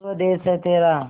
स्वदेस है तेरा